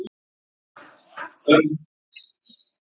Heimir: Já, hvernig, og hvernig brást hann við?